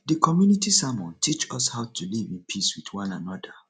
the community sermon teach us how to live in peace with one another